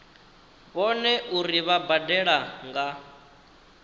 vhone uri vha badela nga